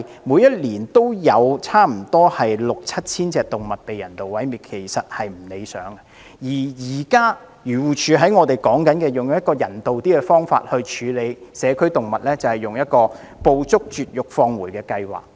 每年均有差不多六七千隻動物被人道毀滅，其實是不理想的，而現時漁護署以較人道的方法處理社區動物，就是"捕捉、絕育、放回"計劃。